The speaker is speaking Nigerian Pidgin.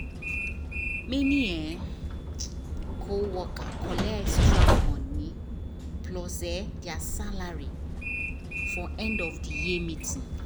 many um co worker collect extra money plus um there salary for end of the year meeting